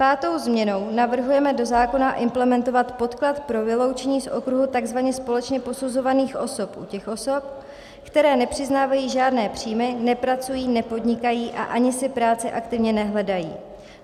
Pátou změnou navrhujeme do zákona implementovat podklad pro vyloučení z okruhu tzv. společně posuzovaných osob u těch osob, které nepřiznávají žádné příjmy, nepracují, nepodnikají a ani si práci aktivně nehledají.